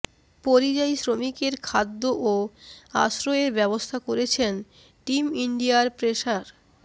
পরিযায়ী শ্রমিকদের খাদ্য ও আশ্রয়ের ব্যবস্থা করছেন টিম ইন্ডিয়ার পেসার